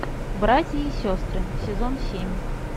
братья и сестры сезон семь